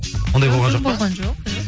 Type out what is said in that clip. ондай болған жоқ па болған жоқ